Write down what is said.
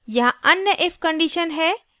यहाँ अन्य if condition है